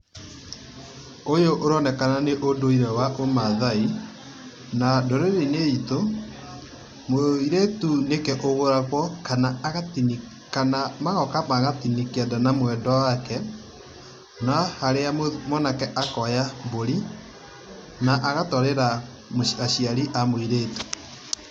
Ũyũ ũronekana nĩũndũire wa ũmathaai. Na ndũrĩrĩinĩ itũ, mũirĩtu nĩwe ũgũragũo kana kana agatini, kana magokoa magatini kianda na mwenda wake na harĩa mwanake akoya mbũri na agatwarĩra aciari a mũirĩtu.